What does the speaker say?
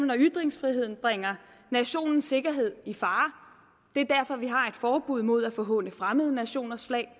når ytringsfriheden bringer nationens sikkerhed i fare det er derfor vi har et forbud mod at forhåne fremmede nationers flag